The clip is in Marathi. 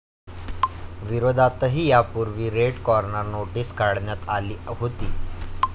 विरोधातही यापूर्वी रेड कॉर्नर नोटीस काढण्यात आली होती.